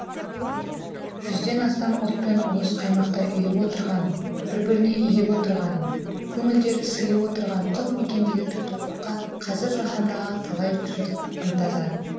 жүзден астам ұлт пен ұлыс қаймақтай ұйып отырған бір біріне иіп отырған көңілдері сыйып отырған құт мекендегі татулыққа қазір жаһандағы талай жұрт ынтазар